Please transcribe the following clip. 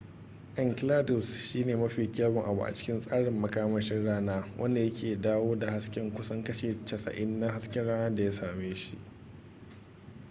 enceladus shine mafi kyawun abu a cikin tsarin makamashin rana wanda yake dawo da hasken kusan kashi 90 na hasken rana da ya same shi